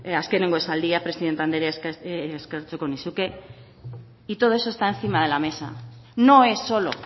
azkenengo esaldia presidente andrea eskertuko nizuke y todo eso está encima de la mesa no es solo